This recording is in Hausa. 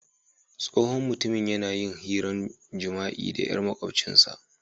Tsohon mutumin ya na yin hiran jima'i da yar maƙwabcin sa.